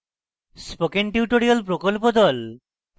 spoken tutorial প্রকল্প the